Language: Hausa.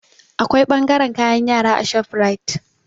Akwai ɓangaren kayan yara a shofrait